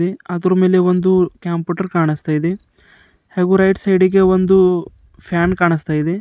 ಅಲ್ಲಿ ಅದ್ರು ಮೇಲೆ ಒಂದು ಕಂಪ್ಯೂಟರ್ ಕಾಣಿಸ್ತಾ ಇದೆ ಹಾಗೂ ರೈಟ್ ಸೈಡಿ ಗೆ ಒಂದು ಫ್ಯಾನ್ ಕಾಣಿಸ್ತಾ ಇದೆ.